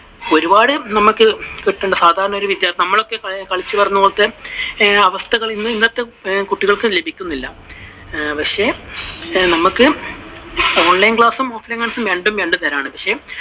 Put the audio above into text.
ഒരുപാട് നമുക്കു കിട്ടേണ്ട, നമ്മളൊക്കെ ഈ കളിച്ചു വളര്‍ന്ന പോലത്തെ അവസ്ഥകൾ ഇന്നത്തെ കുട്ടികൾക്ക് ലഭിക്കുന്നില്ല. പക്ഷെ നമുക്ക് online class ഉം offline class ഉം രണ്ടും രണ്ടു തരമാണ്